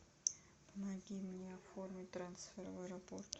помоги мне оформить трансфер в аэропорт